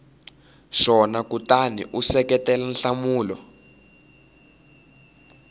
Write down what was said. swona kutani u seketela nhlamulo